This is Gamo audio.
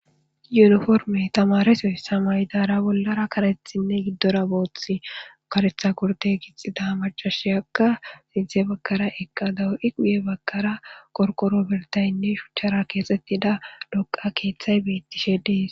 yuniforme tamareso ssamaridara bollara karethinne giddora booth karetha kurte gixida macashiyakka siidze bakkara eqqa dawo7i quye bakkara korqoro birtaynne shuchchara keexettida doqa keeththay bettishe dees